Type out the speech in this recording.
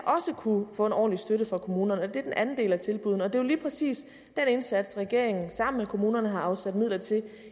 kunne få en ordentlig støtte fra kommunerne det er den anden del af tilbuddene og det er jo lige præcis den indsats regeringen sammen med kommunerne har afsat midler til